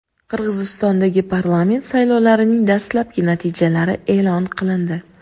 Qirg‘izistondagi parlament saylovlarining dastlabki natijalari e’lon qilindi.